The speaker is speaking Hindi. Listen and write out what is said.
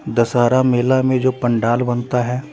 दशहरा मेला में जो पंडाल बनता हैं।